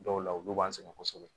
Dɔw la olu b'an sɛgɛn kosɛbɛ